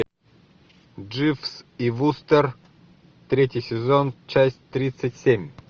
дживс и вустер третий сезон часть тридцать семь